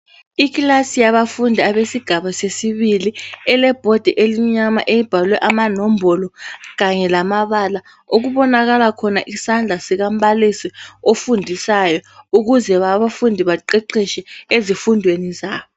Ikilasi yabafundi abezinga lesibili okulebhodi emnyama ebhalwe ngetshoko emhlophe kukhanya isandla okubonakalisa ukuthi umbalisi uyabafundisa eziqheqhetsheni zabo.